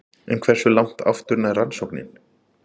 En hversu langt aftur nær rannsóknin?